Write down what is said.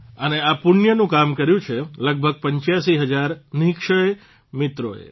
અને આ પુણ્યનું કામ કર્યું છે લગભગ 85 હજાર નિઃક્ષય મિત્રોએ